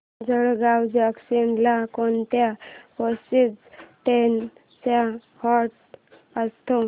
Jalgaon junction ला कोणत्या passenger trains चा हॉल्ट असतो